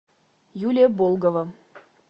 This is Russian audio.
юлия болгова